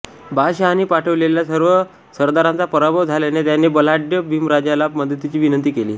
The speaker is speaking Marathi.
बादशहाने पाठवलेल्या सर्व सरदारांचा पराभव झाल्याने त्याने बलाढय़ बिंबराजाला मदतीची विनंती केली